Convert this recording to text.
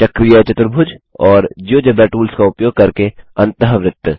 चक्रीय चतुर्भुज और जियोजेब्रा टूल्स का उपयोग करके अन्तःवृत्त